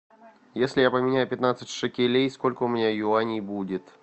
если я поменяю пятнадцать шекелей сколько у меня юаней будет